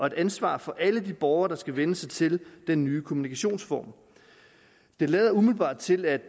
et ansvar for alle de borgere der skal vænne sig til den nye kommunikationsform det lader umiddelbart til at